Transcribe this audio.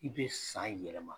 I be san yɛlɛma.